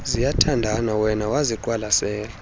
ziyathandana wema waziqwalasela